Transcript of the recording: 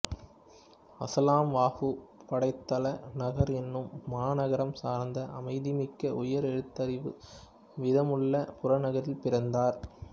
அசுலாம் வாகு படைத்தள நகர் எனும் மாநகரம் சார்ந்த அமைதிமிக்க உயர் எழுத்தறிவு வீதமுள்ள புறநகரில் பிறந்தார்